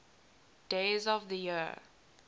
days of the year